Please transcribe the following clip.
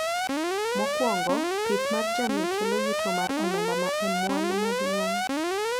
Mokwongo, pith mar jamni kelo yuto mar omenda ma e mwandu maduong'